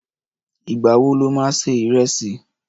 Ìgbà wo lo ma ṣe ìrẹsì?